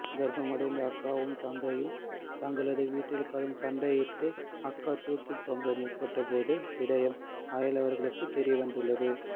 கர்ப்பமடைந்த அக்காவும் தங்கையும் தங்களது வீட்டில் கடும் சண்டையிட்டு அக்கா தூக்கில் தொங்க முற்பட்ட போது விடயம் அயலவர்களுக்கு தெரியந்ததுள்ளது